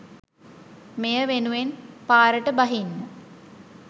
මෙය වෙනුවෙන් පාරට බහින්න